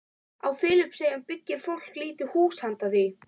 Á Filippseyjum byggir fólk lítil hús handa því.